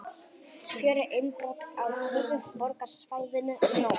Fjögur innbrot á höfuðborgarsvæðinu í nótt